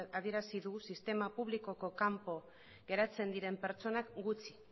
adierazi du sistema publikoko kanpo geratzen diren pertsonak gutxi